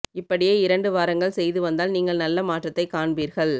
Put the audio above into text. இப்படியே இரண்டு வாரங்கள் செய்து வந்தால் நீங்கள் நல்ல மாற்றத்தை காண்பீர்கள்